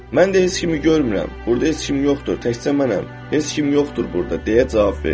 Mən də heç kimi görmürəm, burda heç kim yoxdur, təkcə mənəm, heç kim yoxdur burda, deyə cavab verdim.